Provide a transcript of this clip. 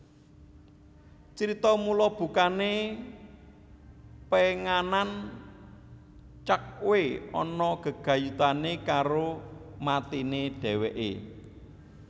Crita mula bukane penganan Cakhwe ana gegayutane karo matine dheweke